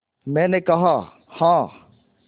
मैंने कहा हाँ